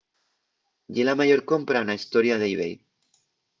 ye la mayor compra na hestoria d'ebay